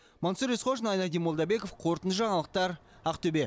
мансұр есқожин айнадин молдабеков қорытынды жаңалықтар ақтөбе